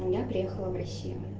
я приехала в россию